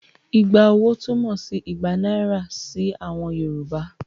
Igba owó' túmọ̀ sí igba náírà sí àwọn Yorùbá.